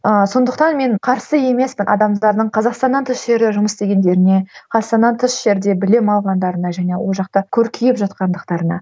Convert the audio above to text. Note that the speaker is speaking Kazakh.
ыыы сондықтан мен қарсы емеспін адамдардың қазақстаннан тыс жерде жұмыс істегендеріне қазастаннан тыс жерде білім алғандарына және ол жақта көркейіп жатқандықтарына